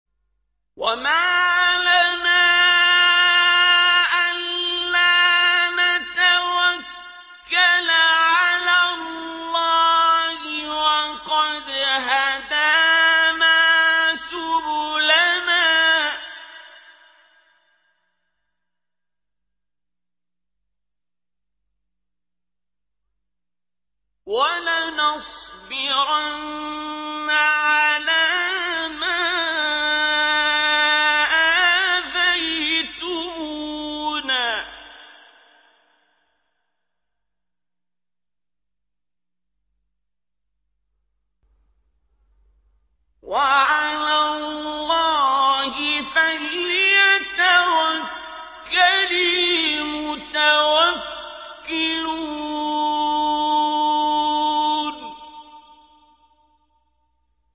وَمَا لَنَا أَلَّا نَتَوَكَّلَ عَلَى اللَّهِ وَقَدْ هَدَانَا سُبُلَنَا ۚ وَلَنَصْبِرَنَّ عَلَىٰ مَا آذَيْتُمُونَا ۚ وَعَلَى اللَّهِ فَلْيَتَوَكَّلِ الْمُتَوَكِّلُونَ